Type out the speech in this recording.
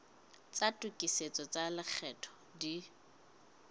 tsa tokisetso tsa lekgetho di